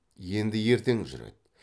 енді ертең жүреді